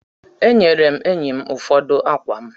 E nyere m enyi m ụfọdụ akwa m.